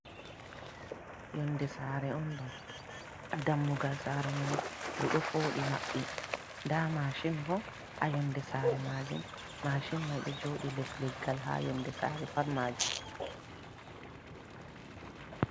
Yonɗe sare on ɗo. dammugal sare mai ɗudo fooɗi mabbi. Nda mashin bo ha yonde sare majum. mashin mai ɗo joodi les leggal, ha yonɗe sare par majum.